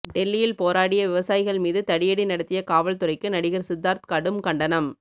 டெல்லியில் போராடிய விவசாயிகள் மீது தடியடி நடத்திய காவல்துறைக்கு நடிகர் சித்தார்த் கடும் கண்டனம்